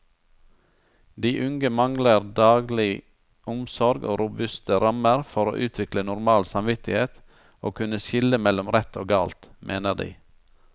De unge mangler daglig omsorg og robuste rammer for å utvikle normal samvittighet og kunne skille mellom rett og galt, mener de.